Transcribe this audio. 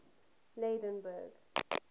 lydenburg